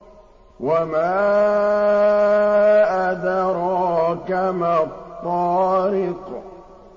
وَمَا أَدْرَاكَ مَا الطَّارِقُ